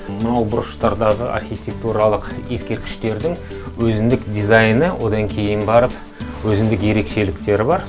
мынау бұрыштардағы архитектуралық ескерткіштердің өзіндік дизайны одан кейін барып өзіндік ерекшеліктері бар